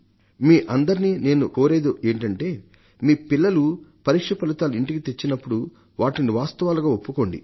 మీ అందరినీ నేను కోరేది ఏమిటంటే మీ పిల్లలు పరీక్ష ఫలితాలు ఇంటికి తెచ్చినప్పుడు వాటిని వాస్తవాలుగా ఒప్పుకోండి